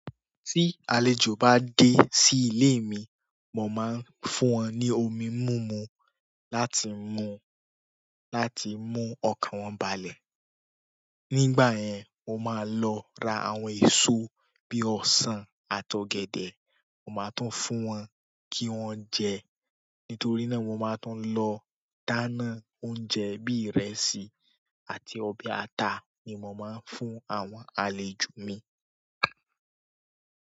Tí àlejò bá dé sí ìle mi, mo máa ń fún wọn ní omi múmu láti mu láti mú ọkàn wọn balẹ̀. Nígbà yẹn, mo máa lọ ra àwọn èso bí i ọsàn àti ọ̀gẹ̀dẹ̀, mo máa tún fún wọn kí wọ́n jẹ. Nítorí náà, mo máa tún lọ dáná oúnjẹ bí ìrẹsì àti ọbẹ̀ ata ni mo máa ń fún àwọn àlejò mi.